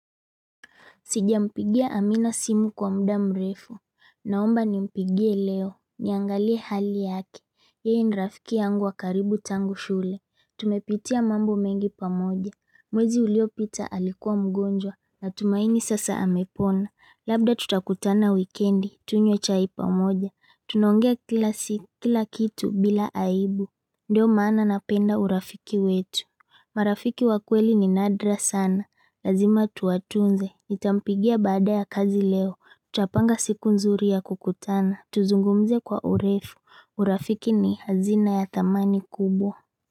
Sijampigia amina simu kwa muda mrefu, naomba ni mpigie leo, niangalie hali yake, yeye ni rafiki yangu wakaribu tangu shule, tumepitia mambo mengi pamoja, mwezi uliopita alikuwa mgonjwa, na tumaini sasa amepona, labda tutakutana wikendi, tunywe chai pamoja, tunaongea kila kitu bila aibu, ndio maana napenda urafiki wetu. Marafiki wakweli ni nadra sana, lazima tuatunze, nitampigia baada ya kazi leo, tunapanga siku nzuri ya kukutana, tuzungumze kwa urefu, urafiki ni hazina ya thamani kubwa.